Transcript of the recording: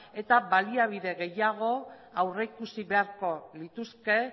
eta baliabide gehiago aurreikusi beharko lituzke